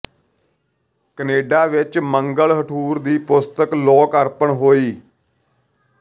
Canada ਵਿੱਚ ਮੰਗਲ ਹਠੂਰ ਦੀ ਪੁਸਤਕ ਲੋਕ ਅਰਪਣ ਹੋਈ